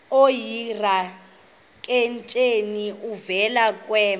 oyidrakenstein uvele kwema